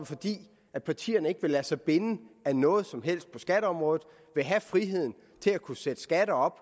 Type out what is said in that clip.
fordi partierne ikke vil lade sig binde af noget som helst på skatteområdet vil have friheden til at kunne sætte skatter op